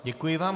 Děkuji vám.